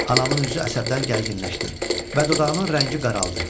Anamın üzü əsəbdən gərginləşdi və dodağının rəngi qaraldı.